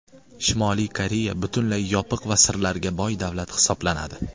Shimoliy Koreya butunlay yopiq va sirlarga boy davlat hisoblanadi.